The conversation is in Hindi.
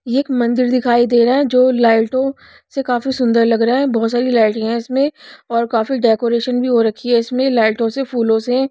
ये एक मंदिर दिखाई दे रहा है जो लाइटों से काफी सुंदर लग रहा है बहुत सारी लाइट हैं इसमें और काफी डेकोरेशन भी हो रखी है इसमें लाइटों से फूलों से।